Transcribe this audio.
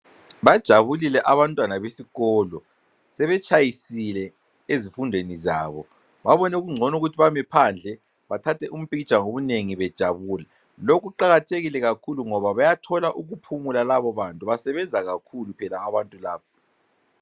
Bajabulile abantwana besikolo sebetshayisile ezifundweni zabo babone kungcono ukuthi bame phandle bathathe umiphikitsha ngobunengi bejabula lokhu kuqakathekile kakhulu ngoba bayathola ukuphumula labo bantu basebenza kakhulu phela abantu labo.